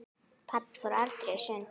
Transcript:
Pabbi fór aldrei í sund.